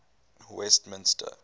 westminster